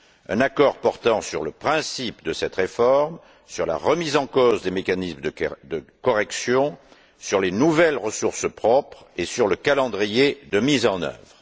Un accord portant sur le principe de cette réforme, sur la remise en cause des mécanismes de correction, sur les nouvelles ressources propres et sur le calendrier de mise en œuvre.